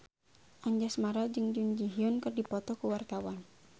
Anjasmara jeung Jun Ji Hyun keur dipoto ku wartawan